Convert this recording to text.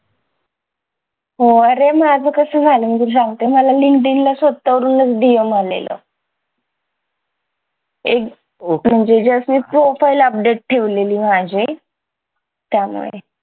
हो आरे माझं कसं झालं मी तुला सांगते मला linkedin ला स्वतःहून DM आलेलं एक just profile update ठेवलेली माझी त्यामुळे